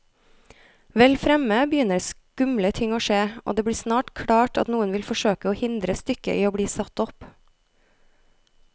Vel fremme begynner skumle ting å skje, og det blir snart klart at noen vil forsøke å hindre stykket i bli satt opp.